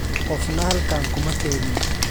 Qofna halkan kuma keenin.